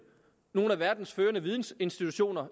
nogle af verdens førende vidensinstitutioner